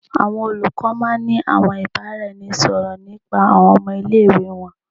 Awọn olukọ máà ń ní àwọn ìbáraẹnisọ̀rọ̀ nípa àwọn ọmọ ile-iwe wọn